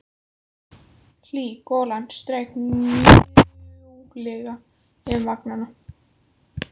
Hlý golan strauk mjúklega um vangana.